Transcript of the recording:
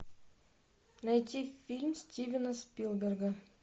найти фильм стивена спилберга